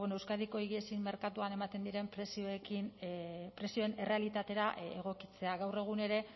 euskadiko higiezinen merkatuan ematen diren prezioen errealitatera egokitzea gaur egun ere